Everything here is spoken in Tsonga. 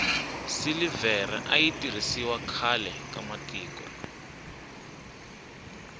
silivhere ayi tirhisiwa khlae ka matiko